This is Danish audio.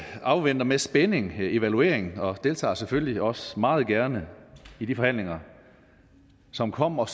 afventer med spænding evalueringen og deltager selvfølgelig også meget gerne i de forhandlinger som kommer